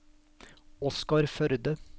Oskar Førde